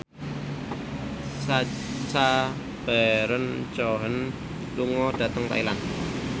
Sacha Baron Cohen lunga dhateng Thailand